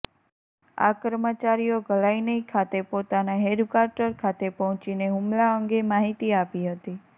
આ કર્મચારીઓ ઘલાનઇ ખાતે પોતાનાં હેડક્વાર્ટર ખાતે પહોંચીને હૂમલા અંગે માહિતી આપી હતી